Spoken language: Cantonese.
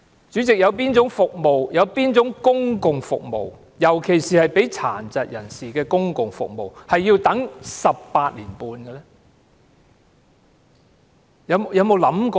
主席，有哪種公共服務，尤其是為殘疾人士提供的公共服務要輪候18年半呢？